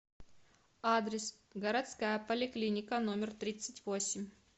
адрес городская поликлиника номер тридцать восемь